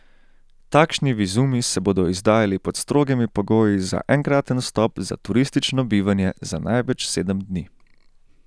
Takšni vizumi se bodo izdajali pod strogimi pogoji za enkraten vstop za turistično bivanje za največ sedem dni.